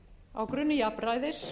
á grunni jafnræðis